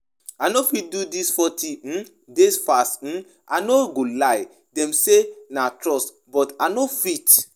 I no fit do dis forty um days fast um I no go lie, dem say na must but I no fit